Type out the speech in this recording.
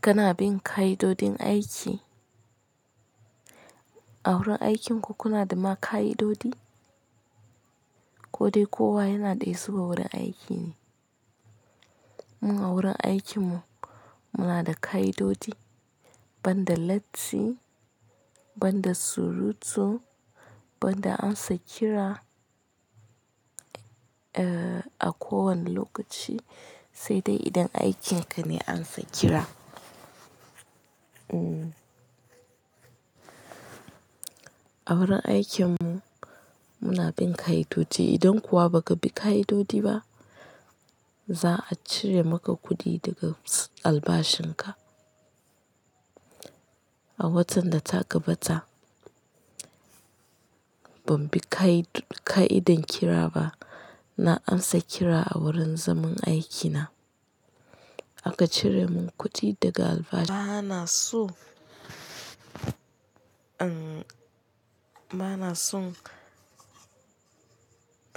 Kana bin ka'idojin aiki? A wurin aikinku kuna da ma ka'idoji, ko dai kowa yana daya su wa wurin aiki ne. Mu a wurin aikinmu muna da ka'idoji, ban da latti, ban da surutu, ban da ansa kira, eh, a kowane lokaci sai dai idan aikin ka ne ansa kira. Mm. A wurin aikinmu muna bin ka'idoji. Idan kuwa ba ka bi ka'idoji ba, za a cire maka kuɗi daga albashin ka. A watan da ta gabata ban bi kai-ka'idan kira ba, na ansa kira a wurin zaman aiki na. Aka cire mun kuɗi daga albashi. Bana son in, bana son